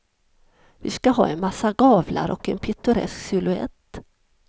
Vi ska ha en massa gavlar och en pittoresk silhuett.